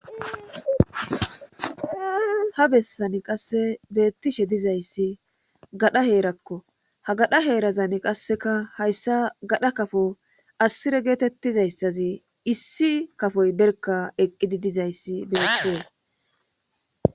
Ha bessani qasse beettishe dizayssi gadha heerakko ha gadha heerazani qasseka hayssa gadha kafo assire geetettizayssazi issi kafoy berka eqqidi dizayssi beetees.